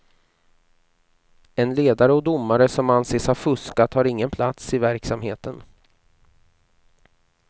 En ledare och domare som anses ha fuskat har ingen plats i verksamheten.